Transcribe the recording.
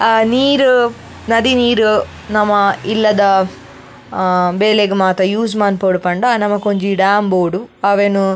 ಅಹ್ ನೀರ್ ನದಿ ನೀರ್ ನಮ ಇಲ್ಲದ ಅಹ್ ಬೇಲೆಗ್ ಮಾತ ಯೂಸ್ ಮನ್ಪೊಡ್ ಪಂಡ ನಮಕೊಂಜಿ ಡ್ಯಾಮ್ ಬೋಡು ಅವೆನ್.